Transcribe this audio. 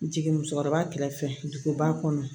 Jigin musokɔrɔba kɛrɛfɛ duguba kɔnɔ